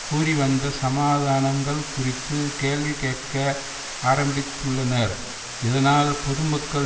கூறிவந்த சமாதானங்கள் குறித்து கேள்வி கேட்க ஆரம்பித்துள்ளனர் இதனால் பொதுமக்கள்